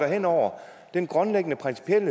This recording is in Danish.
hen over den grundlæggende principielle